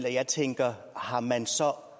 at jeg tænker om man så